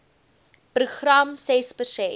program ses persent